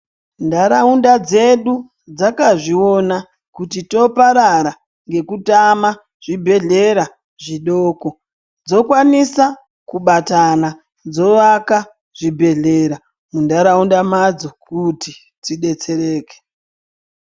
Ntaraunda dzedu dzakazviona kuti toparara ngekutama zvibhedhlera zvidoko dzokwanisa kubatana kuti dzovaka zvibhedhlera muntaraunda madzo kuti dzidetsereke.